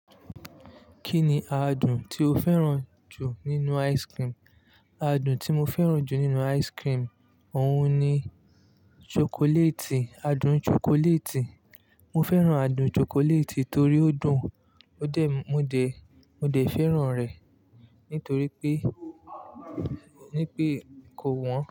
Kí ni adùn tí o fẹ́ràn jù nínú ice cream? Adùn tí mo fẹ́ràn jù nínú ice cream, òun ni chocolate, adùn chocolate. Mo fẹ́ràn adùn chocolate torí ó dùn, ó dẹ́, mo de, mo de fẹ́ràn rẹ̀, nítorí pé, nípé kò wọ́n.